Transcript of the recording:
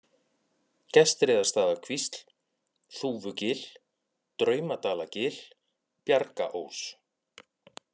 Gestreiðarstaðakvísl, Þúfugil, Draumadalagil, Bjargaós